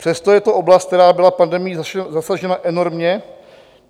Přesto je to oblast, která byla pandemií zasažena enormně.